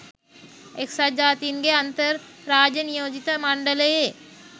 එක්සත් ජාතීන්ගේ අන්තර් රාජ්‍ය නියෝජිත මණ්ඩලයේ